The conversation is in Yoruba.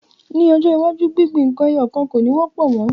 Ni ọjọ́ iwájú gbingbin nkan ẹyọ kan ko ni wọ́pọ̀ mo.